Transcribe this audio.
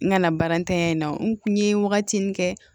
N kana baara ntanya in na n kun n ye wagati min kɛ